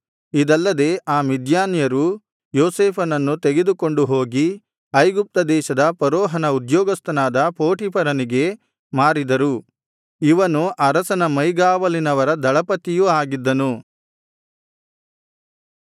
ಇದಲ್ಲದೆ ಆ ಮಿದ್ಯಾನ್ಯರು ಯೋಸೇಫನನ್ನು ತೆಗೆದುಕೊಂಡು ಹೋಗಿ ಐಗುಪ್ತ ದೇಶದ ಫರೋಹನ ಉದ್ಯೋಗಸ್ಥನಾದ ಪೋಟೀಫರನಿಗೆ ಮಾರಿದರು ಇವನು ಅರಸನ ಮೈಗಾವಲಿನವರ ದಳಪತಿಯೂ ಆಗಿದ್ದನು